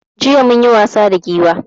Jiya munyi wasa da Giwa